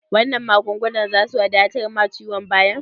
Wannan magungunan zasu wadatar ma ciwon bayan?